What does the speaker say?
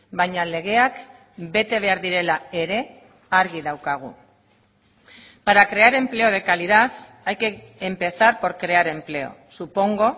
baina legeak bete behar direla ere argi daukagu para crear empleo de calidad hay que empezar por crear empleo supongo